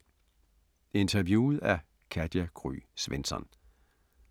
Interviewet af Katja Gry Svensson